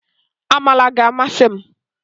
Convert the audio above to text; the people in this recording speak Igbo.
Amala ga-amasị m